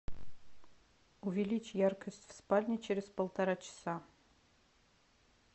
увеличь яркость в спальне через полтора часа